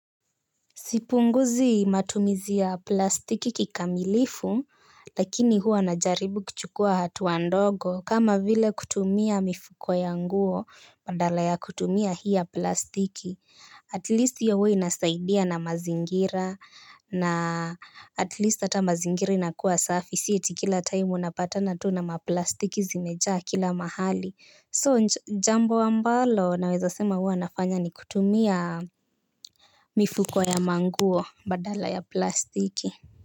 Sipunguzi matumizi ya plastiki kikamilifu. Lakini huwa najaribu kuchukua hatua ndogo. Kama vile kutumia mifuko ya nguo badala ya kutumia hii ya plastiki Atilisti hio huwa inasaidia na mazingira atilisti ata mazingiri na kuwa safi. Sii ati kila taimu unapatana tu na maplastiki zimejaa kila mahali jambo ambalo naweza sema hua nafanya ni kutumia mifuko ya manguo badala ya plastiki.